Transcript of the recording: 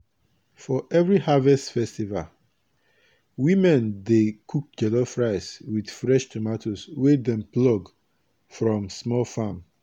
for every harvest festival women dey cook jollof rice with fresh tomatoes wey dem plug from small farm.